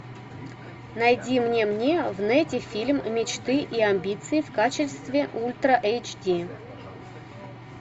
найди мне мне в нете фильм мечты и амбиции в качестве ультра эйч ди